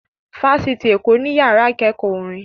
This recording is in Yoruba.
Fáṣitì Èkó ní ìyára ìkẹ́kọ̀ọ́ orin